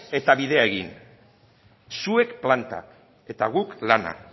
eta bidea egin zuek plantak eta guk lana